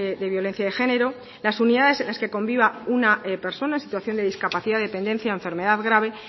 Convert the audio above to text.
de violencia de género las unidades en las que conviva una persona en situación de discapacidad dependencia o enfermedad grave